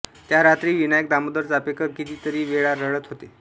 त्या रात्री विनायक दामोदर चाफेकर कितीतेरी वेळ रडत होते